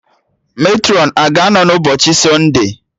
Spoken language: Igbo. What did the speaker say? Matrọn a ga-anọ n'ụbọchị sọnde?